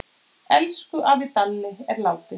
Elsku afi Dalli er látinn.